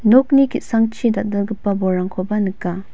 nokni ki·sangchi dal·dalgipa bolrangkoba nika.